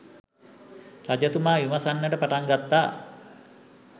රජතුමා විමසන්නට පටන් ගත්තා